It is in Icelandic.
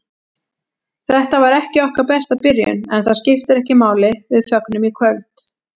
Þetta var ekki okkar besta byrjun, en það skiptir ekki máli, við fögnum í kvöld.